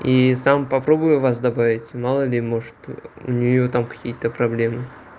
и сам попробую вас добавить мало ли может у неё там какие-то проблемы